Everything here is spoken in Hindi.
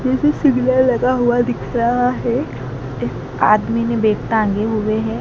जैसे सिग्नल लगा हुआ दिख रहा हैं एक आदमी ने बेग टांगे हुवे हैं।